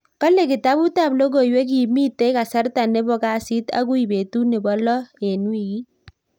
Kale kitabut ab logoiwek kimitei kasarta nebo kasit akui betut nebo lo nebo wikit.